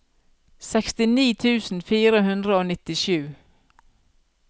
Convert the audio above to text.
sekstini tusen fire hundre og nittisju